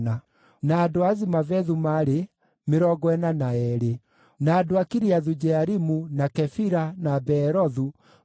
Nao athĩnjĩri-Ngai: arĩa maarĩ a njiaro cia Jedaia (a nyũmba ya Jeshua) maarĩ 973,